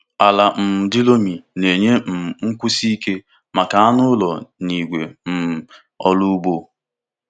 Ala um di loamy na-enye um nkwụsi ike maka anụ ụlọ na igwe um ọrụ ugbo.